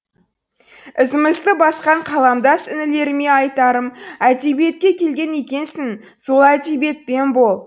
ізімізді басқан қаламдас інілеріме айтарым әдебиетке келген екенсің сол әдебиетпен бол